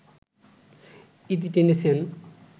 ইতি টেনেছেন